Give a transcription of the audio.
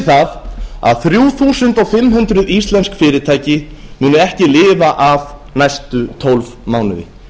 það að þrjú þúsund fimm hundruð íslensk fyrirtæki muni ekki lifa af næstu tólf mánuði